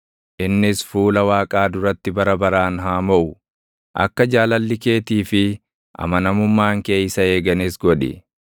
Innis fuula Waaqaa duratti bara baraan haa moʼu; akka jaalalli keetii fi amanamummaan kee isa eeganis godhi.